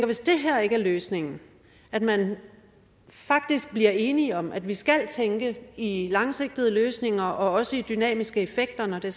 hvis det her ikke er løsningen at man faktisk bliver enige om at vi skal tænke i i langsigtede løsninger og også i dynamiske effekter når det